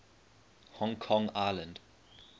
hong kong island